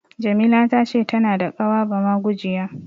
Jamila ta ce tana da ƙawa bamagujiya.